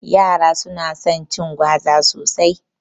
Yara su na son cin gwaza sosai